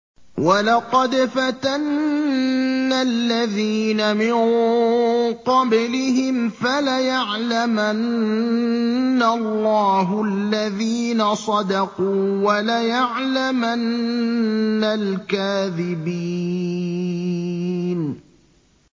وَلَقَدْ فَتَنَّا الَّذِينَ مِن قَبْلِهِمْ ۖ فَلَيَعْلَمَنَّ اللَّهُ الَّذِينَ صَدَقُوا وَلَيَعْلَمَنَّ الْكَاذِبِينَ